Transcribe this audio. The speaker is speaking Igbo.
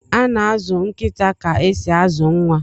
Ana azụ nkịta ka esi azụ nwa.